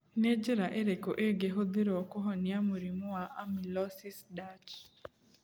Nĩ njĩra irĩkũ ingĩhũthĩrũo kũhonia mũrimũ wa amyloidosis Dutch?